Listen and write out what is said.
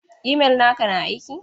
Imel naka na aiki?